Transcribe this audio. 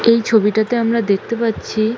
এই ছবিটাতে আমরা দেখতে পাচ্ছি --